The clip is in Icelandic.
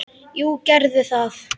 Jú, gerðu það